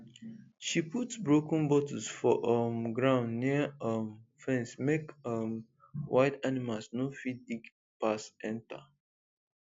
she put broken bottles for um ground near um fence make um wild animals no fit dig pass enter